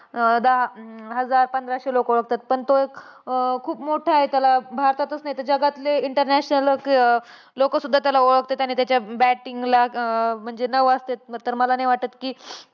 अं दहा हजार पंधराशे लोकं ओळखतात. पण तो एक अं खूप मोठा आहे. त्याला भारतातच नाही तर जगातले international अं लोकं सुद्धा ओळखतात. आणि त्याच्या batting ला अं म्हणजे नवाजतात. तर मला नाही वाटतं कि,